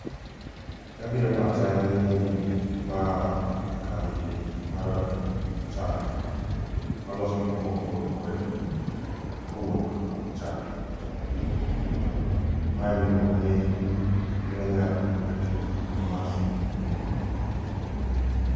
Gima biro e pacha en ni ma kambi mar chak ma loso gik moko mopogore opogore kowuok kuom chak. Mae ema iluongo ni Kenya Cooperative Creamers Limited